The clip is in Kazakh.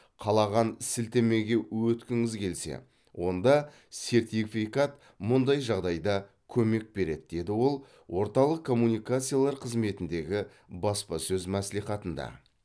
қалаған сілтемеге өткіңіз келсе онда сертификат мұндай жағдайда көмек береді деді ол орталық коммуникациялар қызметіндегі баспасөз мәслихатында